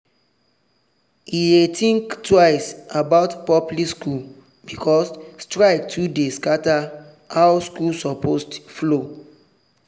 e dey think twice about public school because strike too dey scatter how school supposed flow.